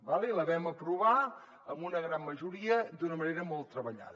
d’acord la vam aprovar amb una gran majoria d’una manera molt treballada